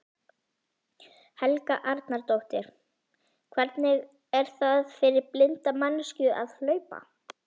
Helga Arnardóttir: Hvernig er það fyrir blinda manneskju að hlaupa?